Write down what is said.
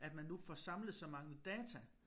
At man nu får samlet så mange data